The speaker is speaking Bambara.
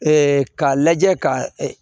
k'a lajɛ ka